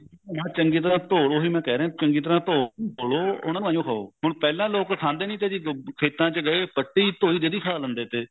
ਹਾਂ ਚੰਗੀ ਤਰ੍ਹਾ ਤੋਂ ਲਵੋ ਉਹਨਾਂ ਨੂੰ ਐਵੇਂ ਹੀ ਖਾਓ ਹੁਣ ਪਹਿਲਾਂ ਲੋਕ ਖਾਂਦੇ ਨੇ ਤੇ ਜੀ ਖੇਤਾ ਚ ਗਏ ਪੱਟੀ ਧੋਇ ਜਦੀ ਖਾ ਲਿੰਦੇ ਤੇ